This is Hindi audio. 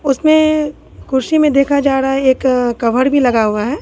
उसने कुर्सी में देखा जा रहा है एक कवर भी लगा हुआ है।